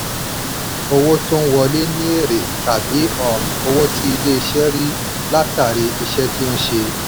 owó tó ń wọlé ni èrè tàbí um owó tí ilé-iṣẹ́ rí látàrí iṣẹ́ tó ń ṣe.